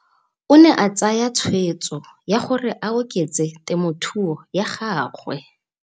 O ne a tsaya tshweetso ya gore a oketse temothuo ya gagwe.